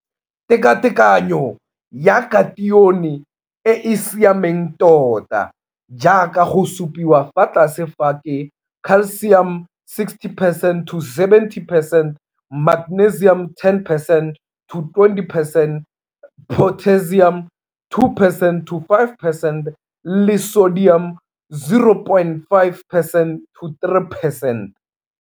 Tekatekanyo ya katione e e siameng tota jaaka go supiwa fa tlase fa ke Ca 60 percent to 70 percent, Mg 10 percent to 20 percent, K 2 percent to 5 percent le Na 0,5 percent to 3 percent.